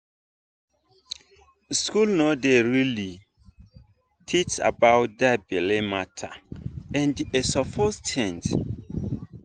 school no dey really teach about that belle matter and e suppose change.